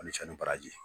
Ani cɛ ni baraji